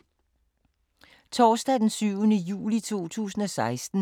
Torsdag d. 7. juli 2016